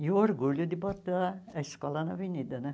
E o orgulho de botar a escola na avenida, né?